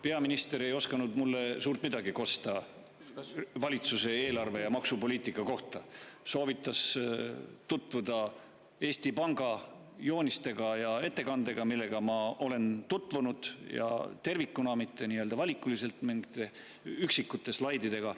Peaminister ei osanud mulle suurt midagi kosta valitsuse eelarve ja maksupoliitika kohta, soovitas tutvuda Eesti Panga joonistega ja ettekandega, millega ma olen tutvunud ja tervikuna, mitte valikuliselt mingite üksikute slaididega.